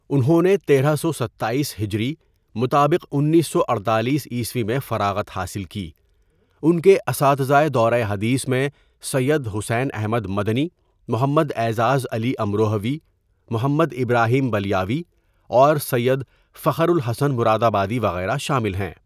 انھوں نے ۱۳۶۷ھ مطابق ۱۹۴۸ء میں فراغت حاصل کی ان کے اساتذۂ دورۂ حدیث میں سید حسین احمد مدنی، محمد اعزاز علی امروہوی، محمد ابراہیم بلیاوی اور سید فخر الحسن مرادآبادی وغیرہ شامل ہیں.